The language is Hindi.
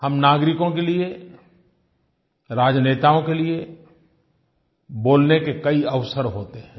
हम नागरिकों के लिए राजनेताओं के लिए बोलने के कई अवसर होते हैं